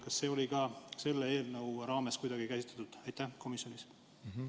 Kas seda ka selle eelnõu raames kuidagi käsitleti komisjonis?